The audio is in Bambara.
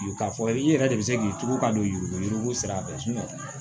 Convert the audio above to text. K'a fɔ i yɛrɛ de bɛ se k'i tugu ka don yurukuyururu yurugu sira fɛ